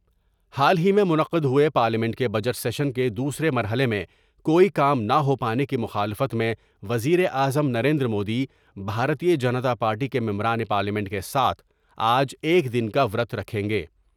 حال ہی میں منعقد ہوۓ پارلیمنٹ کے بجٹ سیشن کے دوسرے مرحلے میں کوئی کام نہ ہو پانے کی مخالفت میں وزیراعظم نریندرمودی بھارتیہ جنتا پارٹی کے ممبران پارلیمنٹ کے ساتھ آج ایک دن کا ورت رکھیں گے ۔